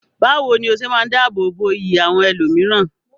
Bawo ni o se maa n dáàbò bo iyì àwọn ẹlòmíràn?